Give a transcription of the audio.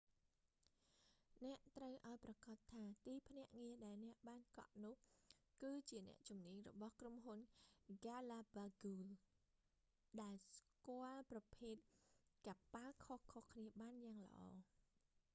អ្នកត្រូវឱ្យប្រាកដថា ទីភ្នាក់ងារដែលអ្នកបានកក់នោះ គឺជាអ្នកជំនាញរបស់ក្រុមហ៊ុនហ្គាឡាបាហ្គូស galapagos ដែលស្គាល់ប្រភេទកប៉ាល់ខុសៗគ្នាបានយ៉ាងល្អ